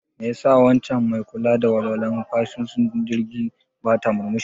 Mai ya sa waccan mai kula da walwalan fasinjojin jirgi bata murmushi?